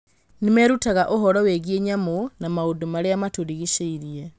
Nĩ merutaga ũhoro wĩgiĩ nyamũ na maũndũ marĩa matũrigicĩirie.